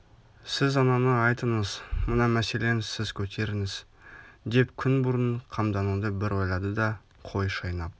сіз ананы айтыңыз мына мәселен сіз көтеріңіз деп күн бұрын қамдануды бір ойлады да қой шайнап